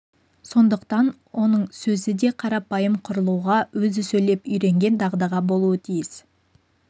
сондықтан оның сөзі де өте қарапайым құрылуға өзі сөйлеп үйренген дағдыда болуға тиіс